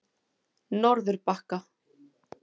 Norðurbakka